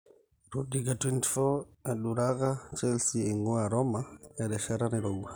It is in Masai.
Rudiger24,eduraka Chelsea eingua Roma erishata nairowua.